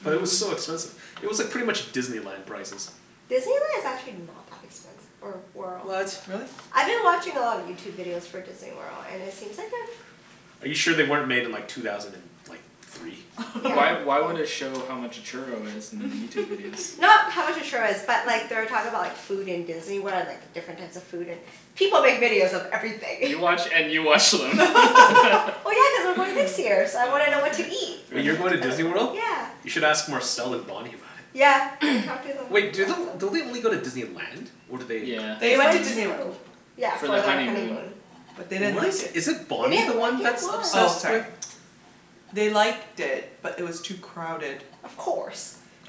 But it was so expensive. It was like pretty much Disneyland prices. Disneyland is actually not that expensive or What? Really? I've been watching a lot of Youtube videos for Disney World and it seems like a Are you sure they weren't made in like two thousand and like three? Why why would it show how much a churro is in Youtube videos? Not how much a churro is but like they were talking about like food in Disney World and like different types of food and, people make videos of everything You watch and you watch them. Well, yeah, cuz I'm going next year so I Oh wanna know what to okay, eat fair Wait, enough you're going to Disney World? You Yeah should ask Marcel and Bonny about it. Yeah, I've talked to them Wait, do lots of the- don't they only go to Disneyland? Or do they Yeah, They They Disney went to went Land. Disney to, World. yeah For their For their honeymoon. honeymoon. But they didn't What is, like it is it They Bonny the didn't like one it, that's why? Oh obsessed sorry. with They liked it but it was too crowded Of course,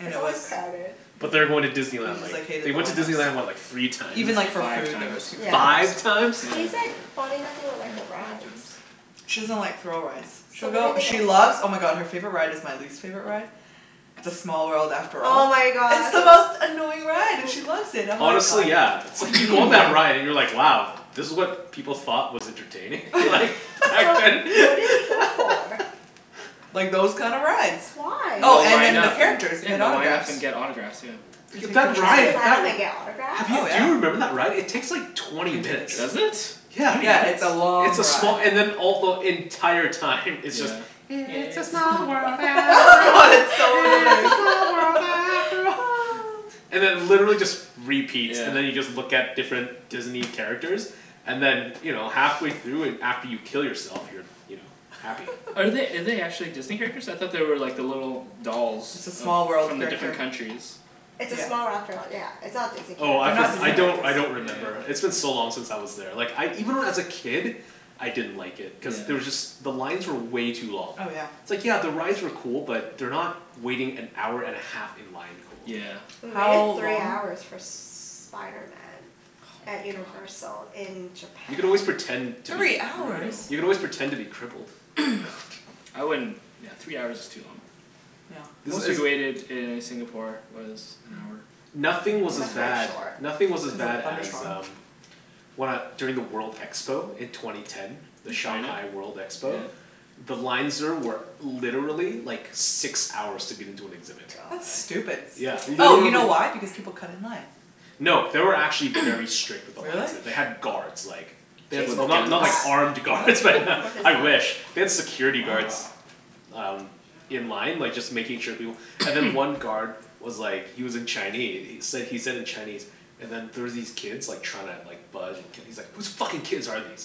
it's always crowded But they are going to Disney They Land just like, like hated they the went to line up Disney so. Land, what, like, three times? Even like for Five food there was times huge line Five ups. times? Yeah. He's like, Bonny doesn't even like the rides. She doesn't like thrill rides. So She'll what go, did they go she for? loves, oh my god, her favorite ride is my least favorite ride, "It's a small world after Oh all." my It's god. the most annoying ride and she loves it. I'm like Honestly yeah, it's like you go on that ride and you're like wow, this was what people thought was entertaining? Like, back So then? what did they go for? Like those kinda rides. Why? And Oh they'll and line then the up and characters, you yeah, get and they'll line autographs. up and get autographs, yeah. That's it? Line up and get autographs? Oh Do yeah. you remember that ride? It takes like twenty minutes. Does it? Yeah, Twenty Yeah, minutes? it's a it's long a small, ride. and then all the, the entire time it's just, "It's a small world Oh after god, all, it's so it's a annoying. small world after all." And it literally just repeats. Yeah And then you just look at different Disney characters and then you know, halfway through and after you kill yourself you're, you know, happy. Are they, are they actually Disney characters? I thought they were like the little dolls. It's a Of, small world from the character. different countries It's a small world after all yeah, it's not Disney Oh I characters. for- I don't, I don't Yeah remember. It's been yeah yeah so long since I was there, like I even when I was a kid, I didn't like it. Cuz Yeah there was just, the lines were way too long. Oh yeah It's like yeah the rides were cool but they're not waiting-an-hour-and-a-half-in-line cool. Yeah We waited How three long hours for Spiderman Oh at my god Universal in You can always japan. pretend to be Three That's hours?! You can brutal. always pretend to be crippled. I wouldn't, yeah, three hours is too long. Yeah. Most we waited in Singapore was an hour. Nothing was as bad, nothing was as bad as um, when I, during the world expo in twenty ten. The In China? Shanghai World expo. Yeah The lines there were literally like six hours to get into an exhibit. That's God. stupid Yeah, Oh you know literally. why, because people cut in line. No, they were actually very strict with the lines Really? there. They had guards like They had, With Jason well went not to not guns? like that. armed guards but What? With his I wish. family They had security guards um in line like just making sure people, and then one guard was like he was in Chine- he said he said in Chinese and then there was these kids like trying to like bud- and he's like "Who's fucking kids are these,"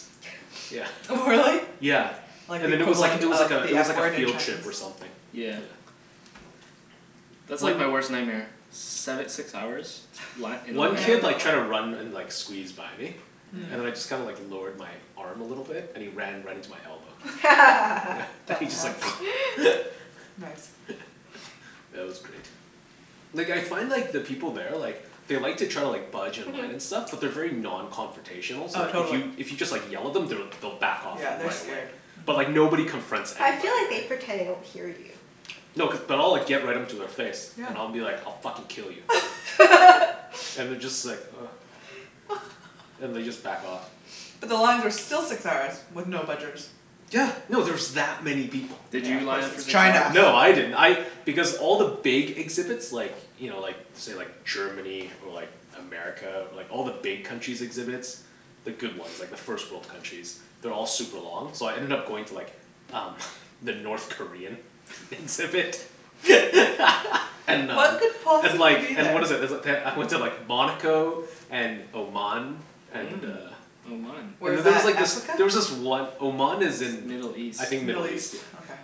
yeah. Really? Yeah, Like the and then it was like equivalent it was like of a the it was F like a word in field trip or Chinese something. Yeah That's like my worst nightmare, seve- six hours, li- in a One line up kid like tried to run and and like squeeze by me, and I just kinda like lowered my arm a little bit and he ran right into my elbow. And he just like Dumbass Nice Yeah, that was great. Like I find like the people there like they like to try to like budge in line and stuff but they're very non-confrontational so Oh like if totally. you, if you just like yell at them they'll back off like Yeah. They're right away. scared. But like nobody confronts I feel anybody, like they right? pretend they don't hear you. No, cuz, but I'll like get right into their face Yeah and I'll be like, "I'll fucking kill you." And they just like ugh, and they just like back off. But the lines are still six hours with no budgers. Yeah, no, there's that many people. Did Yeah you of course line up for it's the crowd or China. something? No, I didn't, I, because all the big exhibits like you know, like say, like Germany or like America or like all the big countries' exhibits, the good ones, like the first world countries, they're all like super long so I ended up going to like um the North Korean exhibit and uh What could And possibly like, be and there? what is it, is it, they- I went to like Monaco and Oman. And Mm. uh Oman. Where's There's that, like this, Africa? there was this one, Oman is in Middle East I think Middle Middle East, East? yeah. Okay.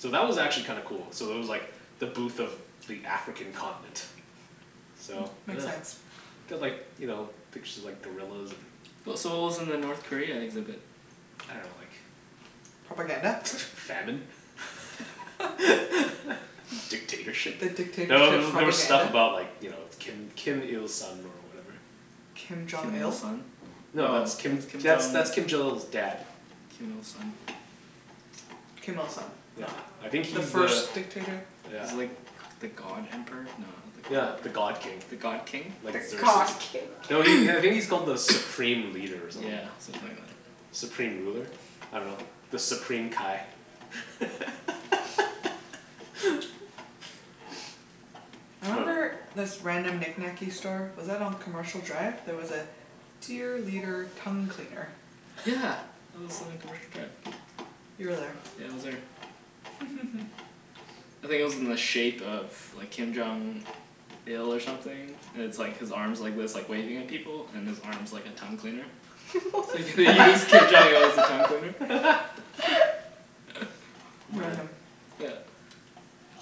So that was actually kinda cool. So there was like the booth of the African continent. So, Makes sense. They had like, you know, pictures of like gorillas and W- so what was in the North Korea exhibit? I dunno, like Propaganda? Famine? Dictatorship? The No, there dictatorship were there were stuff propaganda? about like you know, Kim Kim Il Sung or whatever. Kim Jong Kim Il Il? Sung? No, that's Kim, that's that's Kim Jong Il's dad. Kim Il Sung. Kim Il Sung. Yeah, No. I think The he's the first dictator? Yeah. He's like the god emperor? No, not the god Yeah, the emperor. god king. The god king? The god king? No, he, I think he's called the supreme leader or something Yeah. like that. Something like that. Supreme ruler? I dunno. The Supreme Kai. I remember this random knickknacky store, was that on Commercial Drive? There was a "Dear Leader Tongue Cleaner". Yeah, that was on Commercial Drive. You were there. Yeah, I was there. I think it was in the shape of like Kim Jong Il or something, and it's like his arms are like this, like waving at people and his arm's like a tongue cleaner. You use Kim Jong what? Il as a tongue cleaner. Amazing. Yeah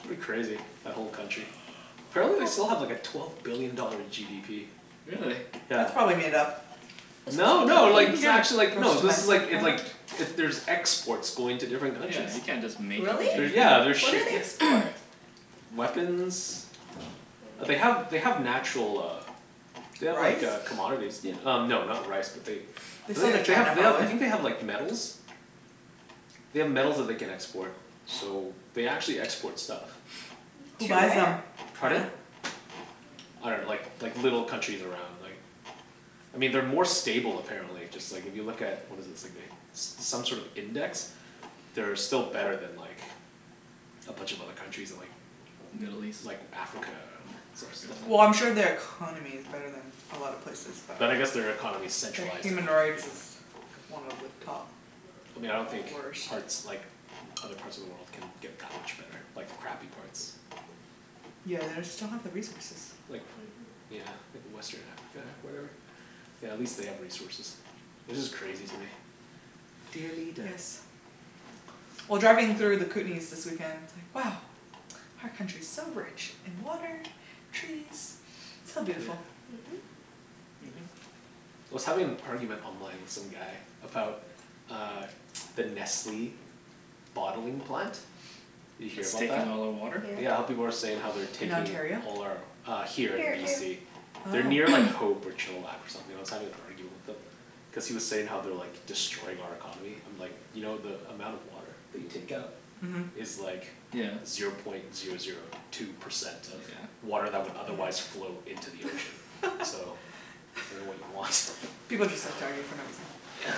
It's pretty crazy, that whole country. Apparently they still have like a twelve billion dollar GDP. Really? Yeah. That's probably made up. No, No, no, like, you this is can't, actually like, no this is like, it like, it, there's exports going to different yeah, countries. you can't just make up a Really? They're, GDP. yeah, they're What do ship- they yeah export? Weapons, like they have, they have natural uh They have like Rice? uh commodities y- um no not rice but they, They I sell to think they, they China have, they have, I probably. think they have like metals. They have metals that they can export so they actually export stuff. Who To buys where? them? Pardon? I dunno, like like little countries around like, I mean they're more stable apparently, just like if you look at what is it, it's like they, some sort of index, they're still better than like a bunch of other countries in like Middle east? Like Africa, or some, stuff like Well I'm sure they are economy is better than a lot of places but But I guess their economy is Their centralized and human like, you rights know is one of the top I mean I don't think worst. parts, like other parts of the world can get that much better, like the crappy parts. Yeah, they just don't have the resources. Like, yeah like western Africa or whatever. Yeah, at least they have resources. It's just crazy to me. Dear leader Yes. Well, driving through the Kootenays this weekend, it's like, wow, our country's so rich in water, trees, so Yeah. beautiful. Mhm. I was having an argument online with some guy about uh the Nestle bottling plant. You hear It's about that? taking all their water? Yeah, how people are saying they're In taking Ontario? all our uh Here, in Here too. BC. They're Oh near like Hope or Chilliwack or something. I was having an argument with him. Cuz he was saying how they're like destroying our economy, I'm like, "You know the amount of water they take out" Mhm "Is like" Yeah "Zero point zero zero two percent of" Yeah "Water that would otherwise flow into the ocean." "So, I dunno what you want." People just like to argue for no reason. Yeah.